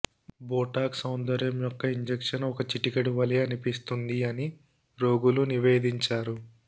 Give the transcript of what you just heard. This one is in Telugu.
బోటాక్స్ సౌందర్య యొక్క ఇంజెక్షన్ ఒక చిటికెడు వలె అనిపిస్తుంది అని రోగులు నివేదించారు